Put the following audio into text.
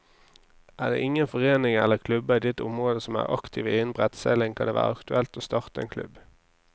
Er det ingen foreninger eller klubber i ditt område som er aktive innen brettseiling, kan det være aktuelt å starte en klubb.